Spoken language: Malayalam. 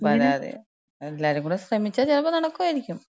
ആ പരാതി. എല്ലാരും കൂടെ ശ്രമിച്ചാ ചെലപ്പോ നടക്കായിരിക്കും.